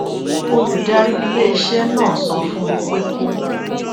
olùdarí iléiṣé náà sọ fún un pé kó